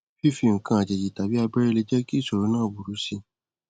fífi nǹkan àjèjì tàbí abẹrẹ lè jẹ kí ìsòro náà ó burú si